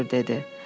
Nüttenfur dedi.